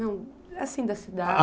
Não, assim, da cidade.